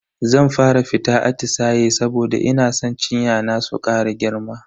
Zan fara fita atisaye saboda ina san cinya na su kara girma.